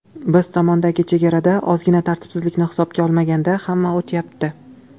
Biz tomondagi chegarada ozgina tartibsizlikni hisobga olmaganda, hamma o‘tyapti.